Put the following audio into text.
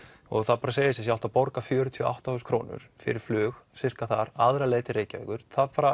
og það segir sig sjálft að borga fjörutíu og átta þúsund krónur fyrir flug sirka aðra leið til Reykjavíkur